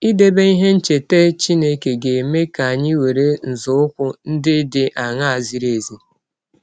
Idebe ihe ncheta Chineke ga - eme ka anyị were nzọụkwụ ndị dị aṅaa zịrị ezi?